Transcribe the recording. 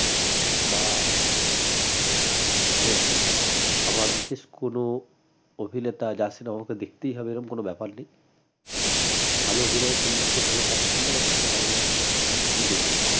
বা web series আমার বিশেষ কোনো অভিনেতা যার cinema টা দেখতেই হবে এরম কোনো ব্যাপার নেই ভাল অভিনয় করলে কেই ভাল কাজ করলে আমার দেখতে ভাল লাগে এ দেখি